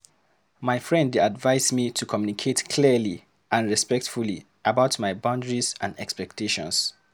My friend dey advise me to communicate clearly and respectfully about my boundaries and expectations.